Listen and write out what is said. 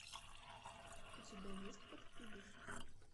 у тебя есть подкидыш